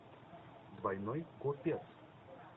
двойной копец